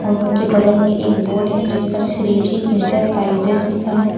उनके बगल में एक बोर्ड है जिस पर श्रीजी इंटरप्राइजेज लिखा है।